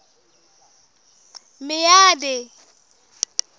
meade